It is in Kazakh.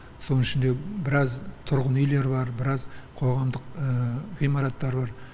соның ішінде біраз тұрғын үйлер бар біраз қоғамдық ғимараттар бар